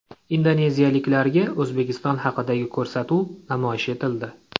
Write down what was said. Indoneziyaliklarga O‘zbekiston haqidagi ko‘rsatuv namoyish etildi.